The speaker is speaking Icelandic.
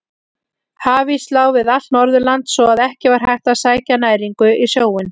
Hafís lá við allt Norðurland svo að ekki var hægt að sækja næringu í sjóinn.